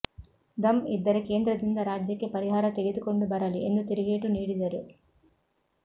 ಧಮ್ ಇದ್ದರೆ ಕೇಂದ್ರದಿಂದ ರಾಜ್ಯಕ್ಕೆ ಪರಿಹಾರ ತಗೆದುಕೊಂಡು ಬರಲಿ ಎಂದು ತೀರುಗೇಟು ನೀಡಿದರು